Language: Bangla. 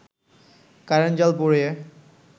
কারেন্ট জাল পুড়িয়ে